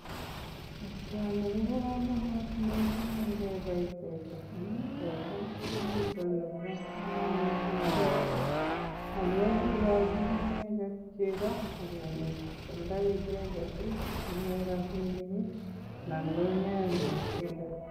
Boisioni ko bo komonut mising ingebai teta amun teta ko kiit nebo komonut amun igochin icheget chego agomuchi koalda icheget asigonyor rabinik anan go keyeny koig bendo.